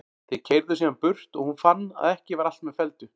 Þeir keyrðu síðan burt og hún fann að ekki var allt með felldu.